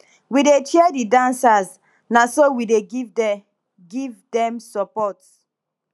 we dey cheer di dancers na so we dey give dey give dem support